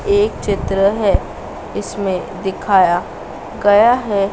एक चित्र है इसमें दिखाया गया है।